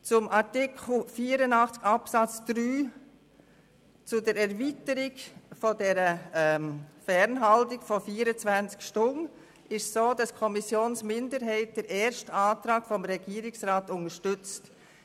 Zu Artikel 84 Absatz 3 und der Erweiterung der Fernhaltung von 24 Stunden: Die Kommissionsminderheit unterstützt den ersten Antrag des Regierungsrats.